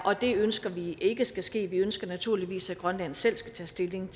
og det ønsker vi ikke skal ske vi ønsker naturligvis at grønland selv skal tage stilling